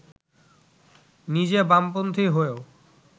নিজে বামপন্থী হয়েও